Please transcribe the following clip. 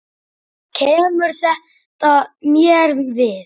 Kemur þetta mér við?